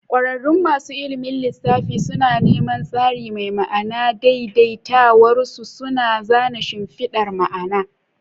Kwararrun masu ilimin lissafi suna neman tsari mai ma'ana, daidaitawarsu suna zana shimfidar ma'ana.